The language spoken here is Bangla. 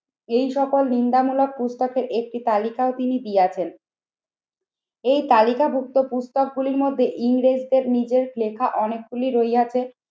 এই সকল নিন্দামূলক পুস্তকের একটি তালিকাও তিনি দিয়েছেন। এই তালিকাভুক্ত পুস্তক গুলির মধ্যে ইংরেজদের নিজের লেখা অনেকগুলি রইয়াছে